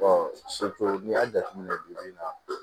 n'i y'a jateminɛ bi na